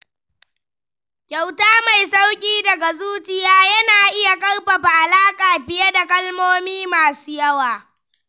Kyauta mai sauƙi daga zuciya na iya ƙarfafa alaƙa fiye da kalmomi masu yawa.